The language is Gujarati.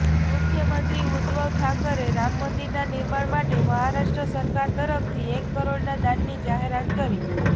મુખ્યમંત્રી ઉદ્ધવ ઠાકરેએ રામ મંદિરના નિર્માણ માટે મહારાષ્ટ્ર સરકાર તરફથી એક કરોડના દાનની જાહેરાત કરી